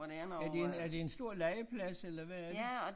Er det en er det en stor legeplads eller hvad er det